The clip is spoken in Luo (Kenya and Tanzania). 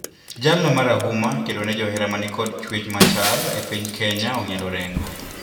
Jalno marahuma e kedone johera manikod chwech machal e piny Kenya ong`ielo orengo.